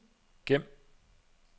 gem